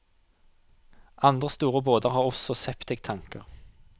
Andre store båter har også septiktanker.